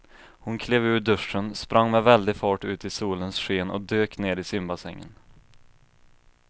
Hon klev ur duschen, sprang med väldig fart ut i solens sken och dök ner i simbassängen.